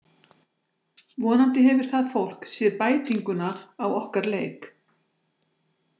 Vonandi hefur það fólk séð bætinguna á okkar leik.